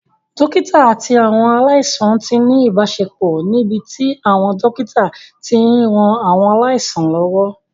Dókítà àti àwọn aláìsàn ti ní ìbáṣepọ̀ níbi tí àwọn dókítà ti ń ran àwọn aláìsàn lọ́wọ́